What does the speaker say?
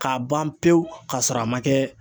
K'a ban pewu ka sɔrɔ a ma kɛ.